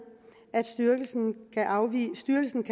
at styrelsen kan afvise